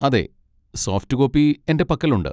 അതെ, soft copy എന്റെ പക്കലുണ്ട്.